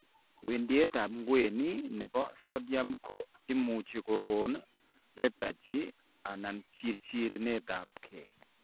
Wendietab ngweny nebo sodium ko muche kogon lethargy and chirchirenet ab kee